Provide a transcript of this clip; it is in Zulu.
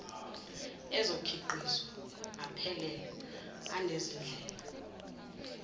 ezokhiqizo aphelele anezindlela